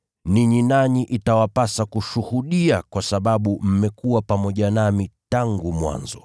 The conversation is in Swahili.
Ninyi nanyi itawapasa kushuhudia kwa sababu mmekuwa pamoja nami tangu mwanzo.